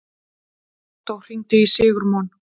Októ, hringdu í Sigurmon.